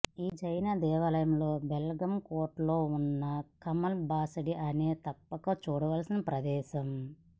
ఈ జైన దేవాలయం బెల్గాం కోటలో ఉన్న కమల్ బాసడి అనేది తప్పక చూడవలసిన ప్రదేశం